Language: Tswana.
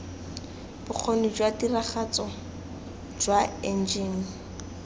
bokgoni jwa tiragatso jwa enjene